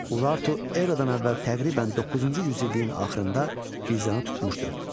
Urartu eradan əvvəl təqribən 9-cu yüzilliyin axırında Gilzanı tutmuşdu.